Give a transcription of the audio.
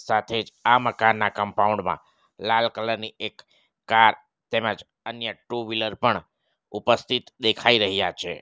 સાથે જ આ મકાનના કમ્પાઉન્ડ માં લાલ કલર ની એક કાર તેમજ અન્ય ટુ વ્હીલર પણ ઉપસ્થિત દેખાઈ રહ્યા છે.